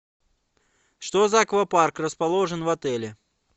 что за аквапарк расположен в отеле